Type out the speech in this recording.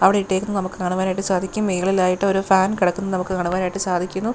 അവിടെ ഇട്ടേക്കുന്നത് നമുക്ക് കാണുവാനായിട്ട് സാധിക്കും മേളിലായിട്ട് ഒരു ഫാൻ കെടക്കുന്നത് നമുക്ക് കാണുവാനായിട്ടു സാധിക്കുന്നു.